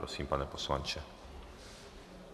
Prosím, pane poslanče.